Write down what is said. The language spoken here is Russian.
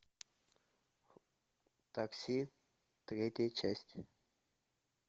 такси третья часть